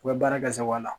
U bɛ baara kɛ sagoya la